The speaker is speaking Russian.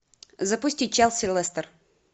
запусти челси лестер